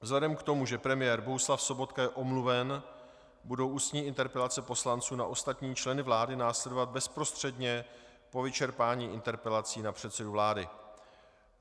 Vzhledem k tomu, že premiér Bohuslav Sobotka je omluven, budou ústní interpelace poslanců na ostatní členy vlády následovat bezprostředně po vyčerpání interpelací na předsedu vlády.